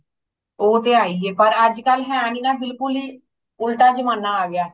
ਉਹ ਤੇ ਹੈਹੀਏ ਪਰ ਅੱਜ ਕੱਲ ਹੈ ਨਹੀਂ ਨਾ ਬਿਲਕੁਲ ਹੂ ਉਲਟਾ ਜਮਾਨਾ ਆ ਗਯਾ